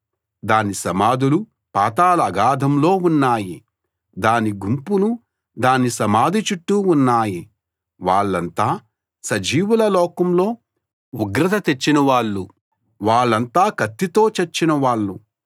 దాని సమాధులు పాతాళాగాధంలో ఉన్నాయి దాని గుంపులు దాని సమాధి చుట్టూ ఉన్నాయి వాళ్ళంతా సజీవుల లోకంలో ఉగ్రత తెచ్చిన వాళ్ళు వాళ్ళంతా కత్తితో చచ్చిన వాళ్ళు